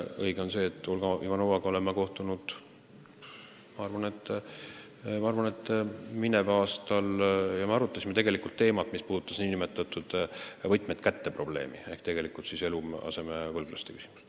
Õige on see, et Olga Ivanovaga olen ma kohtunud, ma arvan, mineval aastal ja me arutasime teemat, mis puudutas "võtmed kätte" probleemi ehk siis eluasemevõlglaste küsimust.